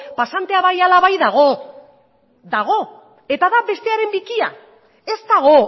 pasantea bai ala bai dago dago dago eta bat bestearen bikia ez dago